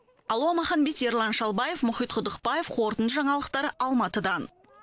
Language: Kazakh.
алуа маханбет ерлан шалбаев мұхит құдықбаев қорытынды жаңалықтар алматыдан